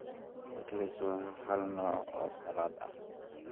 Pickles waa hal nooc oo salad ah.